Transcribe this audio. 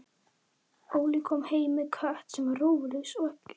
Og það gekk sína leið út úr herberginu, hundleitt á öllu staglinu og endurtekningunum.